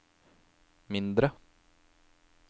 mindre